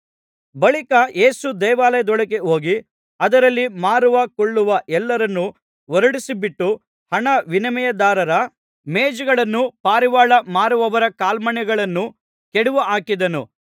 ಬಳಿಕ ಯೇಸು ದೇವಾಲಯದೊಳಗೆ ಹೋಗಿ ಅದರಲ್ಲಿ ಮಾರುವ ಕೊಳ್ಳುವ ಎಲ್ಲರನ್ನೂ ಹೊರಡಿಸಿಬಿಟ್ಟು ಹಣ ವಿನಿಮಯದಾರರ ಮೇಜುಗಳನ್ನೂ ಪಾರಿವಾಳ ಮಾರುವವರ ಕಾಲ್ಮಣೆಗಳನ್ನೂ ಕೆಡವಿಹಾಕಿದನು